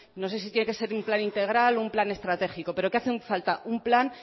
no sé si tiene que ser un plan integral o un plan estratégico pero que hace falta un plan